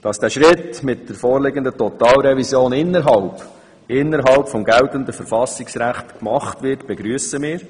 Dass dieser Schritt mit der vorliegenden Totalrevision innerhalb des geltenden Verfassungsrechts vollzogen wird, begrüssen wir.